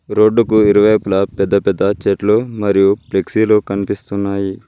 రోడ్డుకు ఇరువైపులా పెద్ద పెద్ద చెట్లు మరియు ఫ్లెక్సీలు కనిపిస్తున్నాయి.